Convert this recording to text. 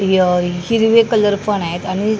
य हिरवे कलर पण आहेत आणि --